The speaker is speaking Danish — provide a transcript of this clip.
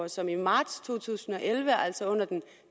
som i marts to tusind og elleve altså under den